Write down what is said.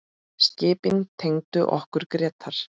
Skipin tengdu okkur Grétar.